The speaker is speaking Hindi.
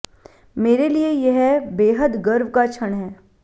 मेरे लिए यह बेहद गर्व का क्षण है